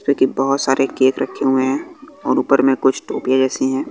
बहोत सारे केक रखे हुए हैं और ऊपर में कुछ टोपीयां जैसी हैं।